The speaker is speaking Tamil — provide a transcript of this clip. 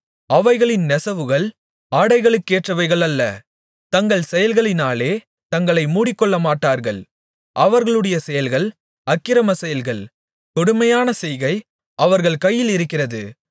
அவைகளின் நெசவுகள் ஆடைகளுக்கேற்றவைகள் அல்ல தங்கள் செயல்களாலே தங்களை மூடிக்கொள்ளமாட்டார்கள் அவர்களுடைய செயல்கள் அக்கிரம செயல்கள் கொடுமையான செய்கை அவர்கள் கைகளிலிருக்கிறது